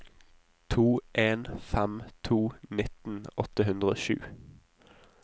to en fem to nitten åtte hundre og sju